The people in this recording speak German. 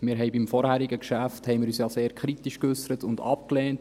Wir haben uns zum vorherigen Geschäft ja sehr kritisch geäussert und es abgelehnt.